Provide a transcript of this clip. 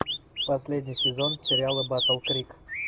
последний сезон сериала баттл крик